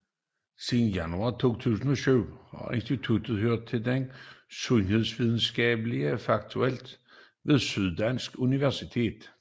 Siden januar 2007 har instituttet hørt under Det Sundhedsvidenskabelige Fakultet ved Syddansk Universitet